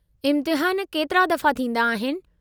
इम्तिहानु केतिरे दफ़ा थींदा आहिनि?